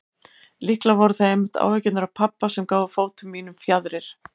Líklega voru það einmitt áhyggjurnar af pabba sem gáfu fótum mínum fjaðrir.